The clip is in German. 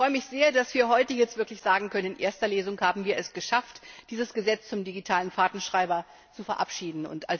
Ich freue mich sehr, dass wir heute wirklich sagen können, in erster Lesung haben wir es geschafft, dieses Gesetz zum digitalen Fahrtenschreiber zu verabschieden.